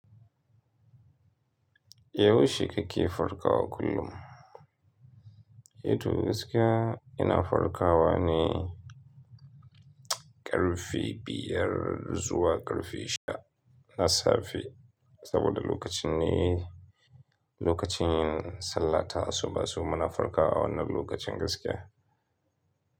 Yaushe kake farkawa kullum? Hito gaskiya ina farkawa ne ƙarfe biyar zuwa ƙarfe sha na safe. Saboda lokacin ne, lokacin yin sallata asuba. To muna farkawa wannan lokacin gaskiya.